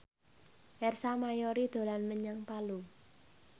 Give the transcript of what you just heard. Ersa Mayori dolan menyang Palu